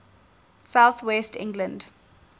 south west england